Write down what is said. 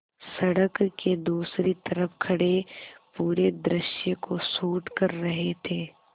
सड़क के दूसरी तरफ़ खड़े पूरे दृश्य को शूट कर रहे थे